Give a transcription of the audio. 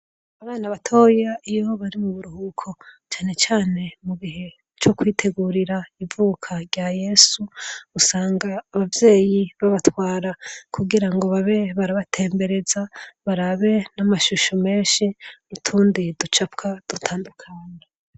abana batoya iyo bari mu buruhuko cyane cyane mu gihe co kwitegurira ivuka rya yesu usanga ababyeyi b'abatwara kugira ngo babe barabatembereza barabe n'amashusho menshi nutundi ducapwa dutandukana